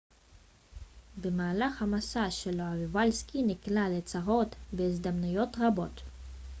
במהלך המסע שלו איוולסקי נקלע לצרות בהזדמנויות רבות